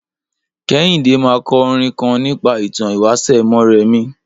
Kẹ́híndé ma kọ orin kan nípa ìtàn ìwáṣẹ̀ Mọ́rẹmí.